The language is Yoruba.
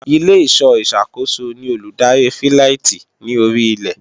Ilé-ìṣọ́ ìsàkóso ni olùdarí fíláìtí ní orí ilẹ̀